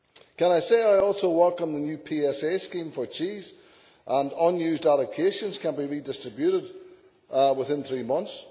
Can I say I also welcome the new PSA scheme for cheese, and that unused allocations can be redistributed within three months.